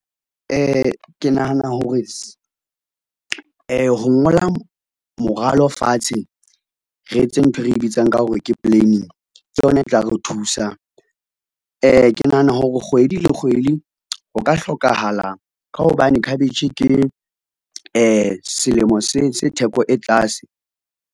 Ke nahana hore ho ngola moralo fatshe, re etse nthwe re bitsang ka hore ke planning, ke yona e tla re thusa. Ke nahana hore kgwedi le kgwedi ho ka hlokahala ka hobane khabetjhe ke selemo se theko e tlase.